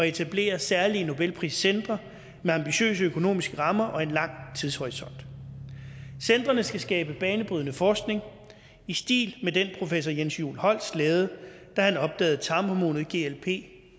etablere særlige nobelpriscentre med ambitiøse økonomiske rammer og en lang tidshorisont centrene skal skabe banebrydende forskning i stil med den professor jens juul holst lavede da han opdagede tarmhormonet glp